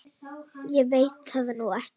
Ég veit það nú ekki.